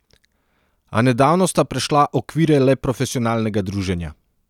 A nedavno sta prešla okvire le profesionalnega druženja.